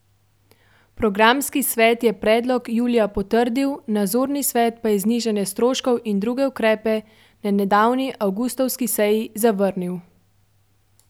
Programski svet je predlog julija potrdil, nadzorni svet pa je znižanje stroškov in druge ukrepe na nedavni, avgustovski seji zavrnil.